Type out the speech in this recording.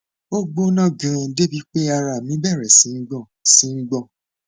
ó gbóná ganan débi pé ara mi bẹrẹ sí í gbọn sí í gbọn